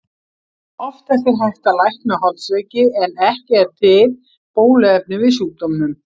Oftast er hægt að lækna holdsveiki en ekki er til bóluefni við sjúkdómnum.